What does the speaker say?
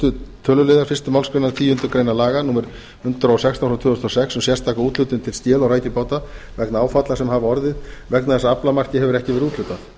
fyrsta tölulið fyrstu málsgreinar tíundu grein laga númer hundrað og sextán tvö þúsund og sex um sérstaka úthlutun til skel og rækjubáta vegna áfalla sem hafa orðið vegna þess að aflamarki hefur ekki verið úthlutað